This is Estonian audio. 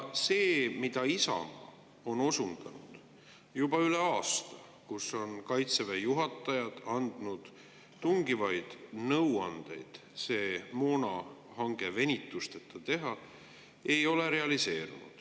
Isamaa on osundanud juba üle aasta, et Kaitseväe juhatajad on andnud tungivaid nõuandeid see moonahange venitusteta teha, aga see ei ole realiseerunud.